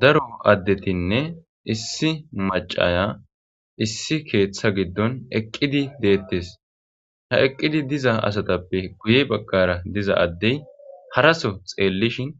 Daro adetine issi macaya issi keetha gidon eqidi deetes ha eqidi diza asatape guye bagan diza adey haraso xelishin